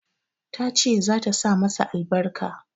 Ta ce za ta sa masa albarka.